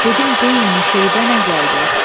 Dedim deyin Müseybə nə gəldi?